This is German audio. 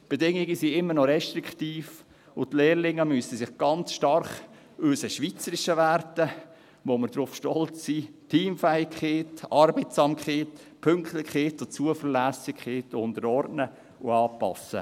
Die Bedingungen sind immer noch restriktiv, und die Lehrlinge müssen sich ganz stark unseren schweizerischen Werten, auf die wir stolz sind – Teamfähigkeit, Arbeitsamkeit, Pünktlichkeit und Zuverlässigkeit –, unterordnen und anpassen.